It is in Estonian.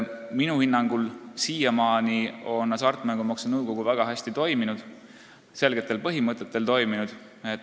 Minu hinnangul on hasartmängumaksu nõukogu väga hästi, selgetel põhimõtetel toiminud.